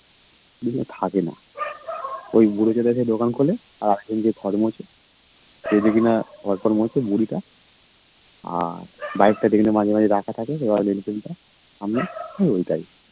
ও আর থাকেনা ওই বুড়ো টা এসে দোকান খোলে আরেকজন যে ঘর মোছে বুড়িটা সে দেখিনা বাসন মাজে বুড়িটা আর বাইক টা দেখলাম মাঝে মাঝে রাখা থাকে royal enfield টা সামনে ঐ ঐটাই